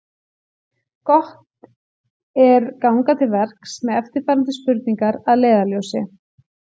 Gott er ganga til verks með eftirfarandi spurningar að leiðarljósi: